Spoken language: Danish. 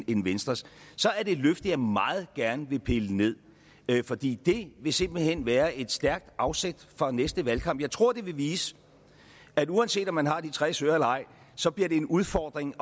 end venstres så er det et løfte jeg meget gerne vil pille ned fordi det vil simpelt hen være et stærkt afsæt for næste valgkamp jeg tror det vil vise at uanset om man har de tres øre eller ej så bliver det en udfordring